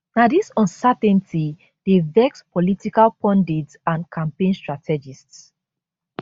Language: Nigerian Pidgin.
na dis uncertainty dey vex political pundits and campaign strategists